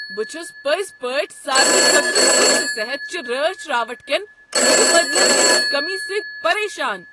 بہٕ چھس پٔزۍ پٲٹھۍ سارنٕے خٲطرٕ سستہٕ صحت چہ رٲچھ راوٹھٕ کین متبادلن ہنٛز کمی سۭتۍ پریشان۔